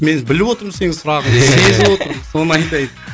мен біліп отырмын сенің сұрағыңды сезіп отырмын соны айтайын